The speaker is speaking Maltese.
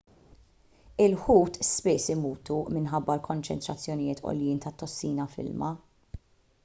il-ħut spiss imutu minħabba konċentrazzjonijiet għoljin tat-tossina fl-ilma